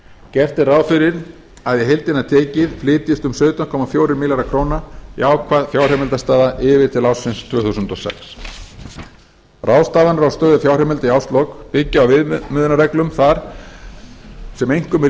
gert er ráð fyrir að í heildina tekið flytjist um sautján komma fjórir milljarðar króna jákvæð fjárheimildastaða yfir til ársins tvö þúsund og sex ráðstafanir á stöðu fjárheimilda í árslok byggja á viðmiðunarreglum þar sem einkum er